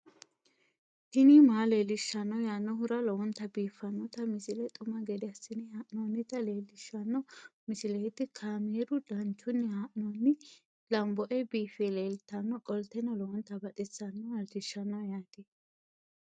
tini maa leelishshanno yaannohura lowonta biiffanota misile xuma gede assine haa'noonnita leellishshanno misileeti kaameru danchunni haa'noonni lamboe biiffe leeeltannoqolten lowonta baxissannoe halchishshanno yaate